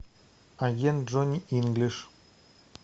агент джонни инглиш